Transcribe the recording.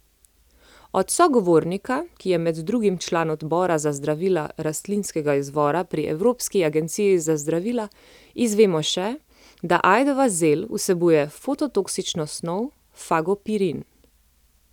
Od sogovornika, ki je med drugim član Odbora za zdravila rastlinskega izvora pri Evropski agenciji za zdravila, izvemo še, da ajdova zel vsebuje fototoksično snov fagopirin.